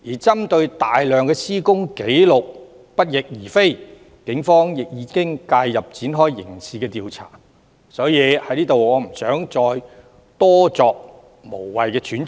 針對大量施工紀錄不翼而飛，警方亦已介入展開刑事調查，所以我不想在此多作無謂揣測。